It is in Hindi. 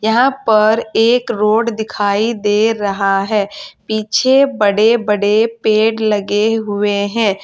यहां पर एक रोड दिखाई दे रहा है पीछे बड़े बड़े पेड़ लगे हुए हैं।